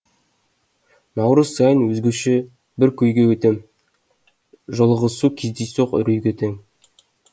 наурыз сайын өзгеше бір күйге өтем жолығысу кездейсоқ үрейге тең